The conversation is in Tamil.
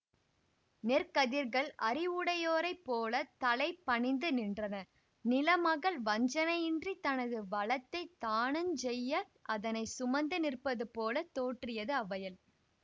நெற்கதிர்கள் அறிவுடையோரைப் போல தலை பணிந்து நின்றன நிலமகள் வஞ்சனையின்றித் தனது வளத்தைத் தானஞ் செய்ய அதனை சுமந்து நிற்பது போல தோற்றியது அவ்வயல்